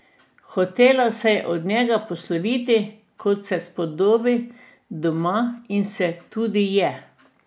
Hotela se je od njega posloviti, kot se spodobi, doma, in se tudi je.